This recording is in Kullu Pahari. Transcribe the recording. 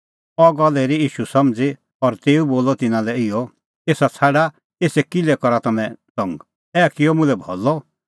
अह गल्ल हेरी ईशू समझ़ी और तेऊ बोलअ तिन्नां लै इहअ एसा छ़ाडा एसा किल्है करा तम्हैं तंग ऐहा किअ मुल्है भलअ